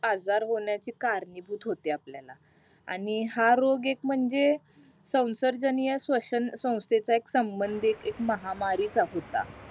आजार होण्याची कारणीभूत होते आपल्याला आणि हा रोग एक म्हणजे सवांसारजनीय सवाष्ण स्वंथेचा एक संबंदीत एक महामारी चा होता